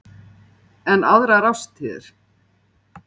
En aðrar árstíðir?